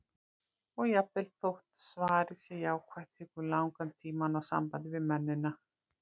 Og jafnvel þótt svarið sé jákvætt, tekur langan tíma að ná sambandi við mennina.